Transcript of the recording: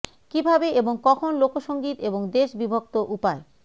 কিভাবে এবং কখন লোক সঙ্গীত এবং দেশ বিভক্ত উপায়